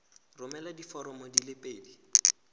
romela diforomo di le pedi